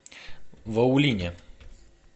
ваулине